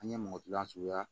An ye mɔgɔ kilan suguya